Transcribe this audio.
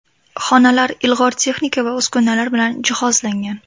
Xonalar ilg‘or texnika va uskunalar bilan jihozlangan.